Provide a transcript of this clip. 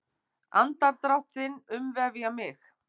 Andardrátt þinn umvefja mig.